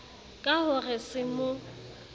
ka ho re se mo